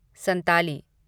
Santali